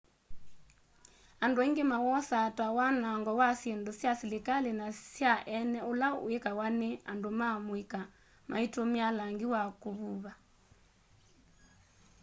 andu aingi mawosaa ta wanango wa syindũ sya silikali na sya eene ula wikawa ni andũ ma mũika maitumia langi wa kuvũva